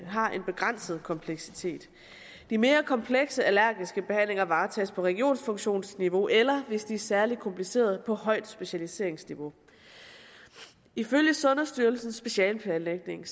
har en begrænset kompleksitet de mere komplekse allergiske behandlinger varetages på regionfunktionsniveau eller hvis de er særlig komplicerede på højt specialiseringsniveau ifølge sundhedsstyrelsens specialeplanlægning